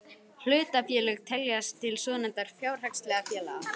Hlutafélög teljast til svonefndra fjárhagslegra félaga.